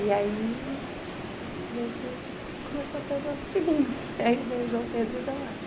E aí a gente começou a ter os nossos filhinhos, aí veio o João Pedro e o Tomásio.